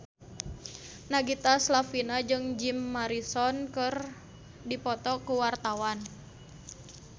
Nagita Slavina jeung Jim Morrison keur dipoto ku wartawan